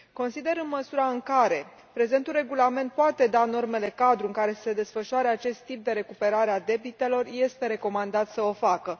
Consider, în măsura în care prezentul regulament poate da normele cadru în care să se desfășoare acest tip de recuperare a debitelor, este recomandat să o facă.